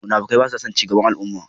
Munafukai basason cigaban al'umma.